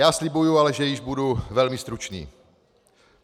Já slibuji ale, že již budu velmi stručný.